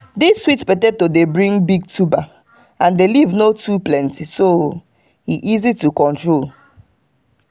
this sweet potato dey bring big tuber and the leaf no too plenty so e easy to control.